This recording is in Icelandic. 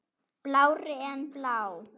Blárri en blá.